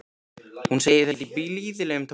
Hún segir þetta í blíðlegum tóni.